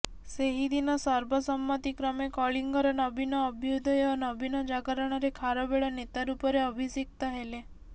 ସେହିଦିନ ସର୍ବସମ୍ମତିକ୍ରମେ କଳିଙ୍ଗର ନବୀନ ଅଭ୍ୟୁଦୟ ଓ ନବୀନ ଜାଗରଣରେ ଖାରବେଳ ନେତା ରୂପରେ ଅଭିଷିକ୍ତ ହେଲେ